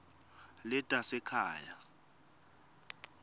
letasekhaya